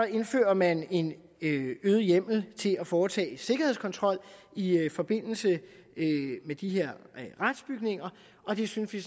indfører man en øget hjemmel til at foretage sikkerhedskontrol i i forbindelse med de her retsbygninger og det synes vi